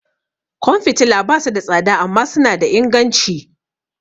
Kwan fitila ba su da tsada amma suna da inganci.